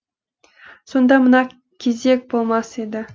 сонда мына кезек болмас еді